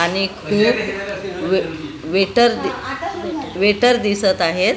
आणि खूप वे वेटर दि वेटर दिसत आहेत .